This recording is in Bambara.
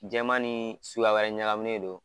Jaman ni sukuya wɛrɛ ɲagaminen don